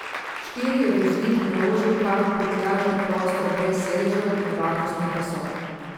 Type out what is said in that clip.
Štiri je voznik naložil kar v prtljažni prostor brez sedežev in varnostnih pasov.